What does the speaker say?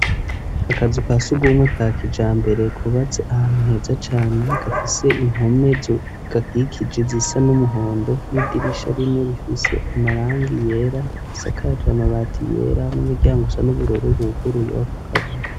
Akazu kasugumwe ka kijambere kubatse ahantu heza cane gafise impome zigakikije zisa n'umuhondo n'idirisha rimwe rifise amarangi yera asakaje amabati yera n'umuryango usa n'ubururu wuguruye wako kazu.